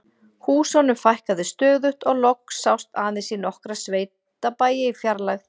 Húsunum fækkaði stöðugt og loks sást aðeins í nokkra sveitabæi í fjarlægð.